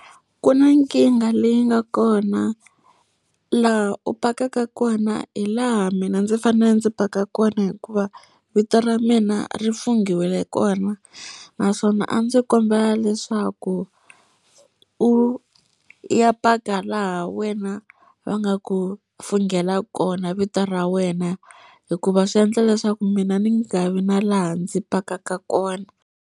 Ku na nkingha leyi nga kona. Laha u pakaka kona hi laha mina ndzi fanele ndzi paka kona hikuva vito ra mina ri funghiwile kona. Naswona a ndzi kombela leswo leswaku u ya paka laha wena va nga ku funengela kona vito ra wena, hikuva swi endla leswaku mina ni nga vi na laha ndzi pakaka kona